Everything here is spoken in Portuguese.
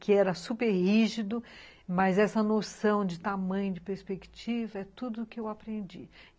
que era super rígido, mas essa noção de tamanho, de perspectiva, é tudo que eu aprendi.